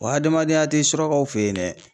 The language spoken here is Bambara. Wa hadamadenya tɛ surakaw fe yen dɛ.